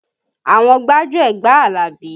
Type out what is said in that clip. Àwọn gbájúẹ̀ gba Alabi